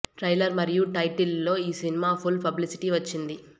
trailer మరియు title లో ఈ సినిమా ఫుల్ పబ్లిసిటీ వచ్చింది